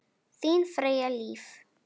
Þín Freyja Líf.